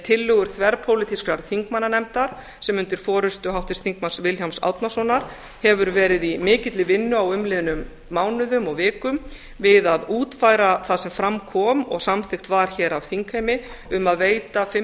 tillögur þverpólitískrar þingmannanefndar sem undir forustu háttvirts þingmanns vilhjálms árnasonar hefur verið í mikilli vinnu á umliðnum mánuðum og vikum við að útfæra það sem fram kom og samþykkt var hér af þingheimi um að veita fimm